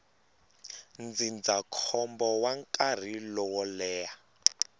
ndzindzakhombo wa nkarhi lowo leha